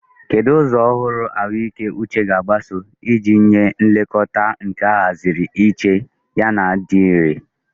Kedu ụzọ ọhụrụ ụlọ ahụike uche ga-agbaso iji nye nlekọta nke ahaziri iche yana dị irè?